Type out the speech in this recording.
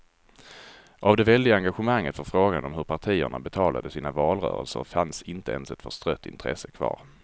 Av det väldiga engagemanget för frågan om hur partierna betalade sina valrörelser fanns inte ens ett förstrött intresse kvar.